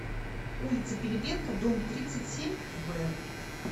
улица пилипенко дом тридцать семь в